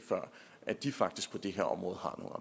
at de faktisk på det her område